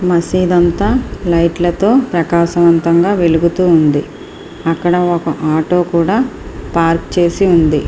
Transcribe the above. మసీదు అంతా లైట్ల తో ప్రకాశవంతంగా వెలుగుతూ ఉంది. అక్కడ ఒక ఆటో కూడా పార్క్ చేసి ఉంది.